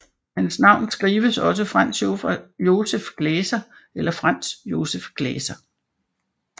Hans navn skrives også Franz Joseph Gläser eller Franz Joseph Glaeser